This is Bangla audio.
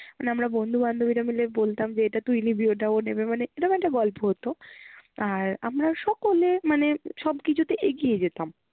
আমরা বন্ধু বান্ধবীরা মিলে বলতাম যে এটা তুই নিবি ওটা ও নেবে মানে এরম একটা গল্প হতো আর আমরা সকলে মানে সব কিছুতে এগিয়ে যেতাম